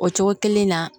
O cogo kelen na